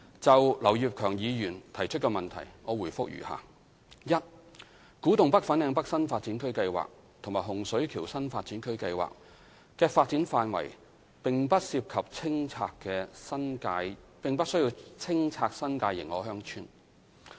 就劉業強議員提出的質詢，我回覆如下：一古洞北/粉嶺北新發展區計劃和洪水橋新發展區計劃的發展範圍不涉及清拆新界認可鄉村。